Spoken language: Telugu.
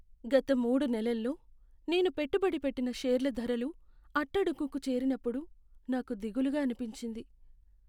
గత మూడు నెలల్లో నేను పెట్టుబడి పెట్టిన షేర్ల ధరలు అట్టడుగుకు చేరినప్పుడు నాకు దిగులుగా అనిపించింది.